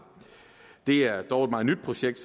det er dog et meget nyt projekt